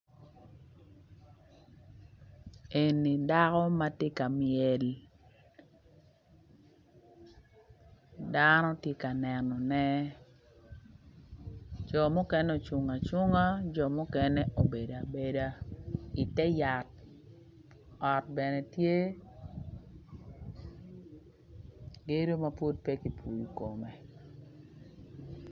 Eni dako ma tye ka myel dano tye ka nenone co mukene ocung acunga jo mukene obedo abeda i te yat ot bene tye gedo ma pud pe kipuyo kume